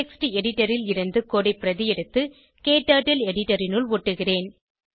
text editor ல் இருந்து code ஐ பிரதி எடுத்து க்டர்ட்டில் எடிட்டர் இனுள் ஒட்டுகிறேன்